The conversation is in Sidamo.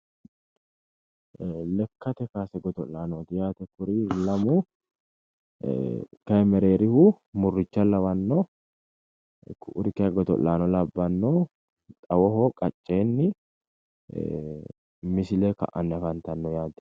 ee lekkate kaase godo'laanooti yaate kuri lamu ee kayi mereerihu murricha lawanno ku'uri kayi godo'laano labbanno xawoho qacceenni ee misile ka'anni afantanno yaate.